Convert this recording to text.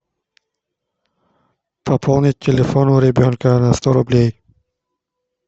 пополнить телефон у ребенка на сто рублей